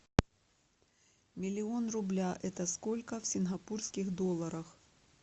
миллион рубля это сколько в сингапурских долларах